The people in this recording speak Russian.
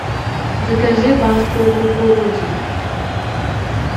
закажи банку кукурузы